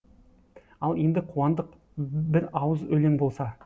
ал енді қуандық бір ауыз өлең болса